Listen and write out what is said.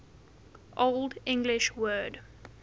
old english word